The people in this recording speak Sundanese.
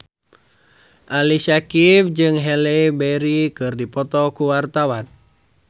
Ali Syakieb jeung Halle Berry keur dipoto ku wartawan